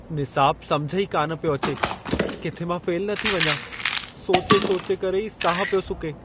निसाबु समुझ ई कान पियो अचे। किथे मां फ़ेल न थी वञां! सोचे-सोचे करे ई साहु पियो सुके।